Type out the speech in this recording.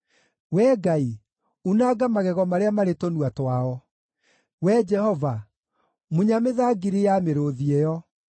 Wee Ngai, unanga magego marĩa marĩ tũnua twao; Wee Jehova, munya mĩthangiri ya mĩrũũthi ĩyo!